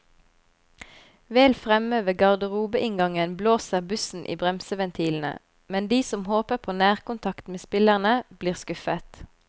Vel fremme ved garderobeinngangen blåser bussen i bremseventilene, men de som håper på nærkontakt med spillerne, blir skuffet.